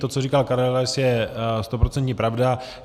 To, co říkal Karel Rais, je stoprocentní pravda.